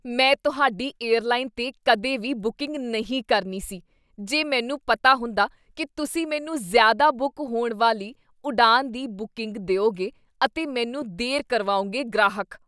ਮੈਂ ਤੁਹਾਡੀ ਏਅਰਲਾਈਨ 'ਤੇ ਕਦੇ ਵੀ ਬੂਕਿੰਗ ਨਹੀਂ ਕਰਨੀ ਸੀ ਜੇ ਮੈਨੂੰ ਪਤਾ ਹੁੰਦਾ ਕੀ ਤੁਸੀਂ ਮੈਨੂੰ ਜ਼ਿਆਦਾ ਬੁੱਕ ਹੋਣ ਵਾਲੀ ਉਡਾਣ ਦੀ ਬੂਕੀੰਗ ਦਿਉਗੇ ਅਤੇ ਮੈਨੂੰ ਦੇਰ ਕਰਵਾਓਗੇ ਗ੍ਰਾਹਕ